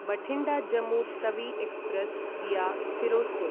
Bathinda Jammu Tawi express via Firozpur